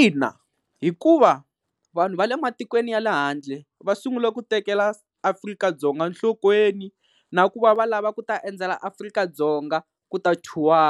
Ina, hikuva vanhu va le matikweni ya le handle va sungule ku tekela Afrika-Dzonga nhlokweni na ku va va lava ku ta endzela Afrika-Dzonga ku ta tour-a